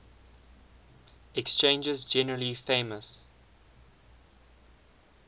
exchanges generally famous